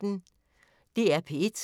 DR P1